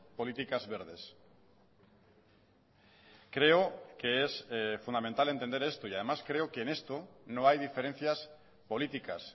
políticas verdes creo que es fundamental entender esto y además creo que en esto no hay diferencias políticas